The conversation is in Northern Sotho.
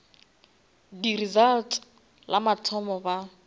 di results la mathomo ba